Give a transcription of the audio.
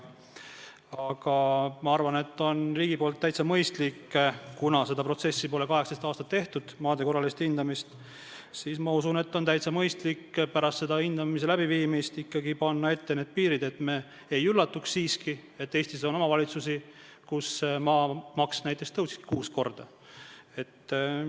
Aga ma arvan, et kuna seda maade korralist hindamist pole 18 aastat tehtud, siis on riigil täiesti mõistlik pärast hindamist ikkagi panna ette need piirid, et me ei üllatuks, et Eestis on omavalitsusi, kus maamaks näiteks tõuseb kuus korda.